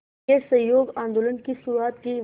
के असहयोग आंदोलन की शुरुआत की